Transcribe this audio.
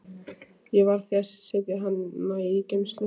Ég varð því að setja hana í geymslu.